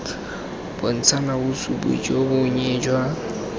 bontsha bosupi jo bonnye jwa